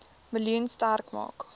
miljoen sterk maak